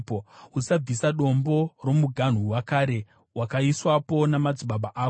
Usabvisa dombo romuganhu wakare, wakaiswapo namadzibaba ako.